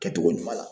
Kɛcogo ɲuman na